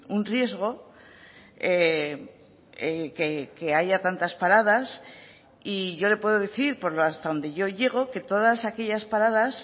un riesgo que haya tantas paradas y yo le puedo decir hasta donde yo llego que todas aquellas paradas